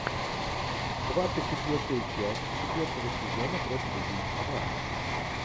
двадцать четвертая часть четвертого сезона профиль убийцы два